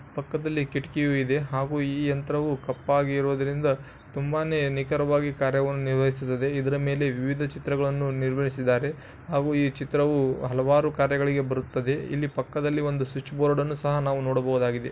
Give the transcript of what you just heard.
ಪಕ್ಕದಲ್ಲಿ ಕಿಟಕಿಯು ಇದೆ ಹಾಗು ಈ ಯಂತ್ರವು ಕಪ್ಪಗಿ ಇರುವುದರಿಂದ ತುಂಬಾನೆ ನಿಕರವಾಗಿ ಕಾರ್ಯಗಳು ನಿರ್ವಹಿಸುತ್ತದೆ ಇದರ ಮೇಲೆ ವಿವಿದ ಚಿತ್ರಗಳನ್ನು ನಿರ್ವಹಿಸಿದ್ದಾರೆ ಹಾಗೂ ಈ ಚಿತ್ರವು ಅಲವಾರು ಕಾರ್ಯಗಳಿಗೆ ಬರುತ್ತದೆ ಇಲ್ಲಿ ಪಕ್ಕದಲ್ಲಿ ಒಂದು ಸ್ವಿಚ್ ಬೋರ್ಡ್ಅನ್ನು ಸಹ ನಾವು ನೋಡಬೋದಗಿದೆ.